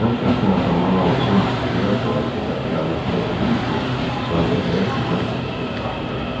Mən şəxsən atamdan aldığım miras sayəsində əyalətdə özüm üçün sadə həyat sürməklə də xoşbəxt ola bilərəm.